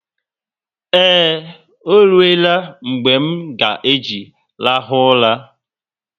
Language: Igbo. Eee, oruela mgbe m nga eji rahu ụla